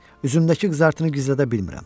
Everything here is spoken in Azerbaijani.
Üzümdəki qızartını gizlədə bilmirəm.